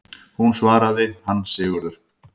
Hún svaraði: Hann Sigurður!